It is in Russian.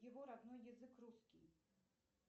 его родной язык русский